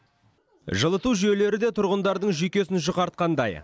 жылыту жүйелері де тұрғындардың жүйкесін жұқартқандай